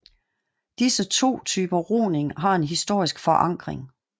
Disse to typer roning har en historisk forankring